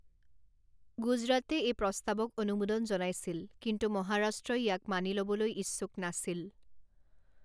গুজৰাটে এই প্ৰস্তাৱক অনুমোদন জনাইছিল কিন্তু মহাৰাষ্ট্ৰই ইয়াক মানি লবলৈ ইচ্ছুক নাছিল।